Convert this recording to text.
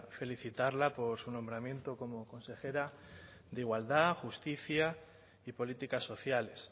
felicitarla por su nombramiento como consejera de igualdad justicia y políticas sociales